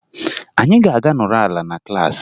Anyị ga-aga nọrọ ala na klaasị